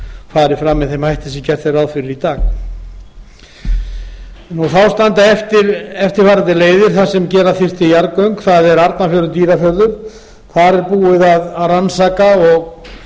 fari fram með þeim hætti sem gert er ráð fyrir í dag þá standa eftir eftirfarandi leiðir þar sem gera þyrfti jarðgöng arnarfjörður dýrafjörður þar er búið að rannsaka og